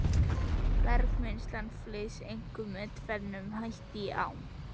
Bergmylsnan flyst einkum með tvennum hætti í ám.